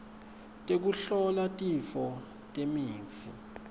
tekuhlola tifo nemitsi